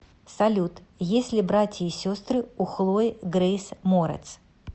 салют есть ли братья и сестры у хлои греис морец